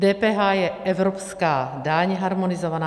DPH je evropská daň, harmonizovaná.